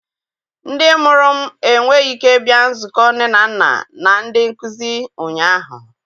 Ndị mụrụ m enweghị ike bịa nzukọ nne na nna na ndị nkuzi ụnyaahụ.